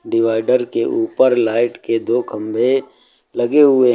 Divider के ऊपर light के दो खंभे लगे हुए है।